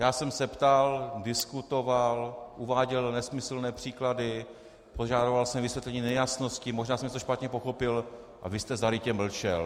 Já jsem se ptal, diskutoval, uváděl nesmyslné příklady, požadoval jsem vysvětlení nejasností, možná jsem něco špatně pochopil - a vy jste zarytě mlčel.